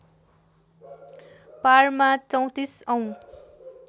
पारमा ३४ औँ